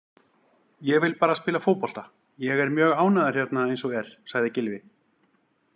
Ég vil bara spila fótbolta, ég er mjög ánægður hérna eins og er, sagði Gylfi.